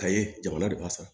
Ka ye jamana de b'a san